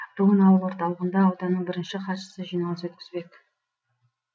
бүгін ауыл орталығында ауданның бірінші хатшысы жиналыс өткізбек